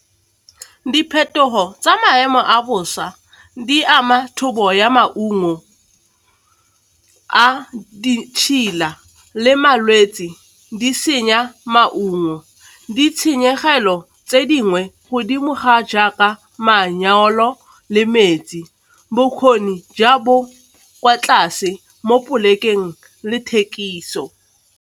Diphetogo tsa maemo a bosa di ama thobo ya maungo a ditšhila le malwetsi di senya maungo. Ditshenyegelo tse dingwe godimo ga jaaka le metsi, bokgoni bo kwa tlase mo polekeng le thekiso.